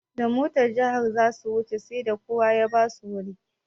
Da motar janar zasu wuce sai da kowa ya basu wuri.